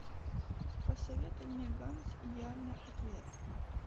посоветуй мне ганц идеальный ответ